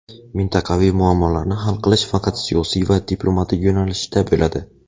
mintaqaviy muammolarni hal qilish faqat siyosiy va diplomatik yo‘nalishda bo‘ladi.